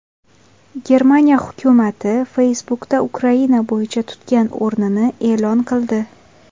Germaniya hukumati Facebook’da Ukraina bo‘yicha tutgan o‘rnini e’lon qildi.